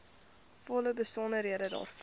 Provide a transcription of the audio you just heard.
volle besonderhede daarvan